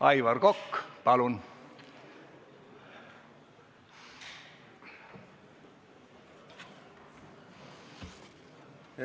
Aivar Kokk, palun!